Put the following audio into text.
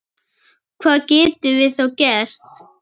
Hvað getum við þá gert?